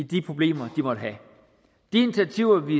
de problemer de måtte have de initiativer vi